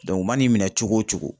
u man'i minɛ cogo o cogo